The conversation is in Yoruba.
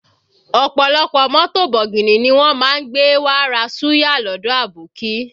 Ọ̀pọ̀lọpọ̀ mọ́tò bọ̀gìnì ni wọ́n má ń gbé wá ra Suya lọdọ abókí